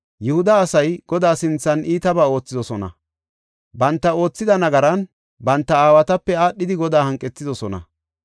Yihuda asay Godaa sinthan iitabaa oothidosona. Banta oothida nagaran banta aawatape aadhidi Godaa hanqethidosona.